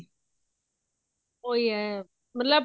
ਉਹੀ ਹੈ ਮਤਲਬ